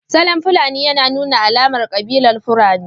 Salon fulani yana nuna alamar kabilar Fulani